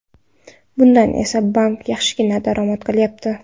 Bundan esa bank yaxshigina daromad qilyapti.